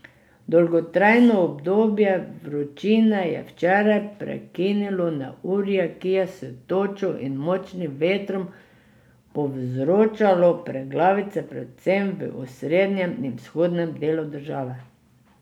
Dolgotrajno obdobje vročine je včeraj prekinilo neurje, ki je s točo in močnim vetrom povzročalo preglavice predvsem v osrednjem in vzhodnem delu države.